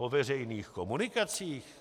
Po veřejných komunikacích?